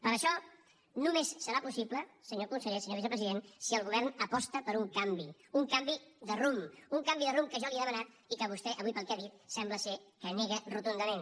però això només serà possible senyor conseller senyor vicepresident si el govern aposta per un canvi un canvi de rumb un canvi de rumb que jo li he demanat i que vostè avui pel que ha dit sembla que nega rotundament